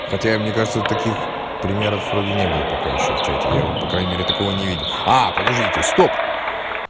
хотя мне кажется таких примеров вроде не было пока ещё в чате я по крайней мере такого не видел а подождите стоп